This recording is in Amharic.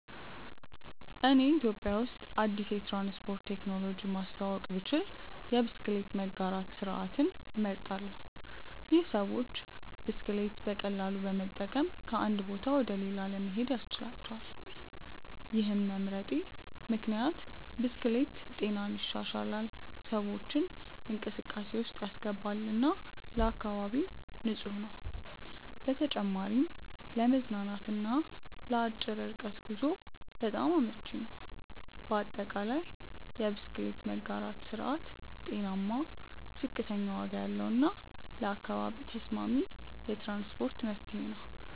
እኔ ኢትዮጵያ ውስጥ አዲስ የትራንስፖርት ቴክኖሎጂ ማስተዋወቅ ብችል የብስክሌት መጋራት ስርዓትን እመርጣለሁ። ይህ ሰዎች ብስክሌት በቀላሉ በመጠቀም ከአንድ ቦታ ወደ ሌላ ለመሄድ ያስችላቸዋል። ይህን መምረጤ ምክንያት ብስክሌት ጤናን ይሻሻላል፣ ሰዎችን እንቅስቃሴ ውስጥ ያስገባል እና ለአካባቢም ንፁህ ነው። በተጨማሪም ለመዝናናት እና ለአጭር ርቀት ጉዞ በጣም አመቺ ነው። በአጠቃላይ፣ የብስክሌት መጋራት ስርዓት ጤናማ፣ ዝቅተኛ ዋጋ ያለው እና ለአካባቢ ተስማሚ የትራንስፖርት መፍትሄ ነው።